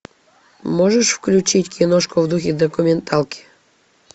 можешь включить киношку в духе документалки